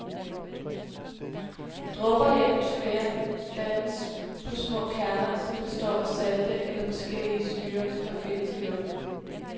Dråber i atmosfæren dannes på små kerner, som består af salte eller forskellige syrer, der findes i luften.